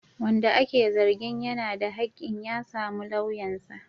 Wanda ake zargin yana da hakkin ya samu lauyansa.